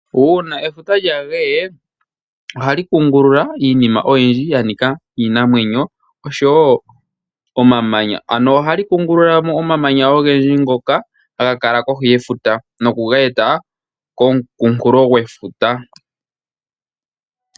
Uuna efuta lyageye ohali kungulula iinima oyindji yanika iinamwenyo osho wo omamanya, ano ohali kungululamo omamanya ogendji ngoka haga kala kohi yefuta nokuga eta komukunkulo gwefuta.